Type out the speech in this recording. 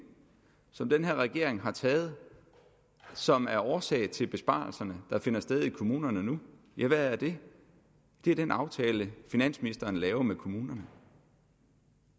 som den her regering har taget og som er årsag til besparelserne der finder sted i kommunerne nu ja hvad er det det er den aftale finansministeren laver med kommunerne